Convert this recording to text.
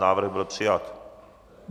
Návrh byl přijat.